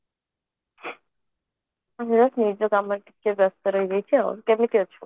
ମୁଁ ନିଜ କାମରେ ଟିକେ ବ୍ୟସ୍ତ ରହିଯାଉଛି ଆଉ କେମିତି ଅଛୁ